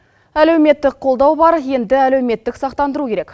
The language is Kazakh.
әлеуметтік қолдау бар енді әлеуметтік сақтандыру керек